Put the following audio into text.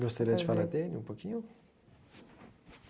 Gostaria de falar dele um pouquinho?